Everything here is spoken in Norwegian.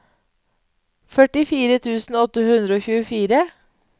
førtifire tusen åtte hundre og tjuefire